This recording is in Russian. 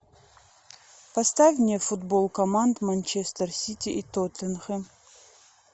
поставь мне футбол команд манчестер сити и тоттенхэм